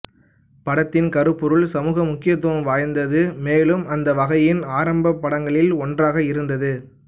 படத்தின் கருபொருள் சமூக முக்கியத்துவம் வாய்ந்தது மேலும் அந்த வகையின் ஆரம்ப படங்களில் ஒன்றாக இருந்தது